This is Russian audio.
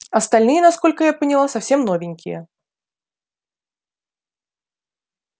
остальные насколько я поняла совсем новенькие